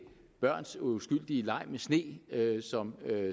børns uskyldige leg med sne som